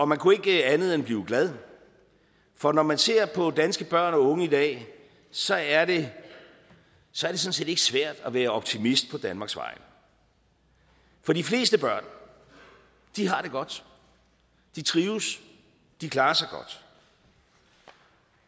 man kunne ikke andet end blive glad for når man ser på danske børn og unge i dag så er det sådan set ikke svært at være optimist på danmarks vegne for de fleste børn har det godt de trives de klarer sig godt